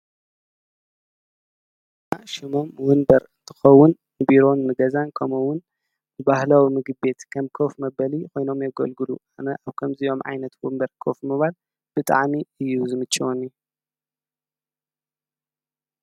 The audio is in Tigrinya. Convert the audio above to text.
ና ሽሞም ውንበር ጥኸውን ንቢሮን ምገዛን ከምውን ብባህለዊ ምግቤት ከም ከፍ መበሊ ኮይኖም የጐልግሉ ኣነ ኣብ ከምዚዮም ዓይነት ውንበር ኮፍ ምባል ብጥዓሚ እዩ ዝምችወኒ።